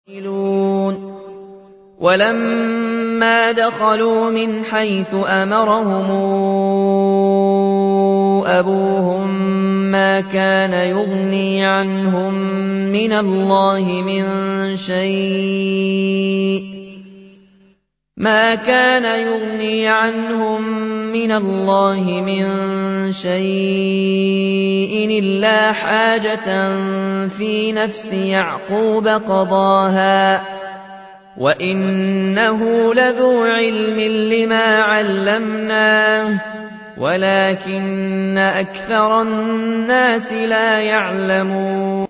وَلَمَّا دَخَلُوا مِنْ حَيْثُ أَمَرَهُمْ أَبُوهُم مَّا كَانَ يُغْنِي عَنْهُم مِّنَ اللَّهِ مِن شَيْءٍ إِلَّا حَاجَةً فِي نَفْسِ يَعْقُوبَ قَضَاهَا ۚ وَإِنَّهُ لَذُو عِلْمٍ لِّمَا عَلَّمْنَاهُ وَلَٰكِنَّ أَكْثَرَ النَّاسِ لَا يَعْلَمُونَ